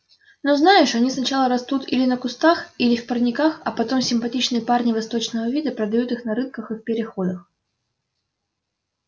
ну знаешь они сначала растут или на кустах или в парниках а потом симпатичные парни восточного вида продают их на рынках и в переходах